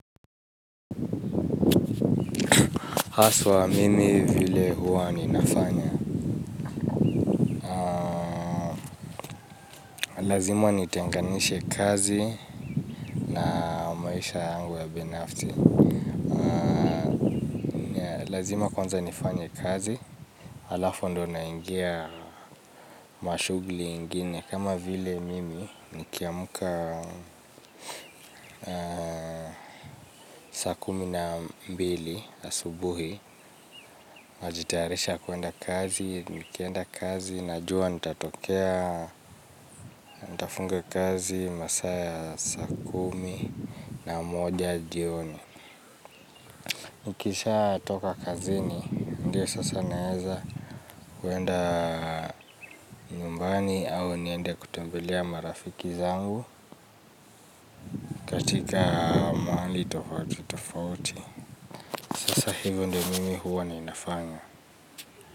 Hasa mimi, vile huwa ninafanya. Lazima nitenganishe kazi na maisha yangu ya binafsi. Lazima kwanza nifanye kazi. Halafu ndipo naingia shughuli nyingine kama vile mimi nikiamka saa kumi na mbili asubuhi. Ninajitayarisha kwenda kazi, nikienda kazi najua nitatoka, nitafunga kazi saa kumi na moja jioni. Nikishatoka kazini ndiyo sasa naweza kuenda nyumbani au niende kutembelea marafiki zangu katika mahali tofauti tofauti, kwa hivyo ndivyo mimi huwa ninafanya.